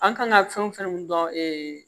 An kan ka fɛn o fɛn min dɔn